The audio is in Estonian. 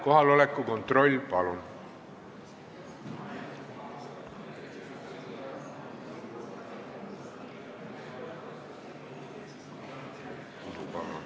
Kohaloleku kontroll, palun!